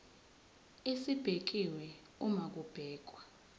esibekiwe uma kubhekwa